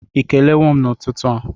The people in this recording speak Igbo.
Ị kelewo m n'ụtụtụ a?